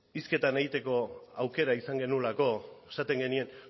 hizketan egiteko aukera izan genuelako esaten genien